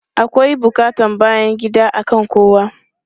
Akwai buƙatan bayan gida akan kowa.